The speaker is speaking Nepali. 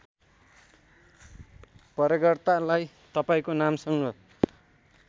प्रयोगकर्तालाई तपाईँको नामसँग